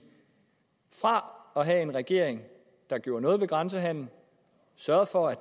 fra at have en regering der gjorde noget ved grænsehandelen sørgede for at